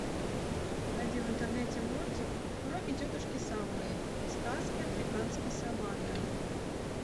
найди в интернете мультик уроки тетушки совы сказки африканской саванны